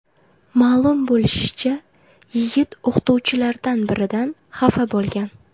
Ma’lum bo‘lishicha, yigit o‘qituvchilardan biridan xafa bo‘lgan.